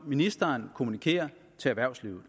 ministeren kommunikerer til erhvervslivet